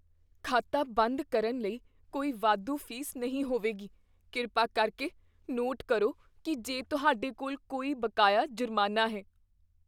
ਖਾਤਾ ਬੰਦ ਕਰਨ ਲਈ ਕੋਈ ਵਾਧੂ ਫ਼ੀਸ ਨਹੀਂ ਹੋਵੇਗੀ। ਕਿਰਪਾ ਕਰਕੇ ਨੋਟ ਕਰੋ ਕੀ ਜੇ ਤੁਹਾਡੇ ਕੋਲ ਕੋਈ ਬਕਾਇਆ ਜੁਰਮਾਨਾ ਹੈ।